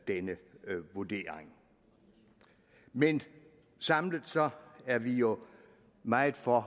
denne vurdering men samlet er vi jo meget for